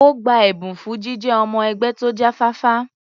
Ó gba ẹ̀bùn fún jíjẹ́ ọmọ-ẹgbẹ́ tó jáfáfá.